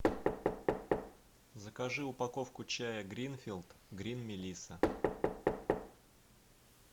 закажи упаковку чая гринфилд грин мелисса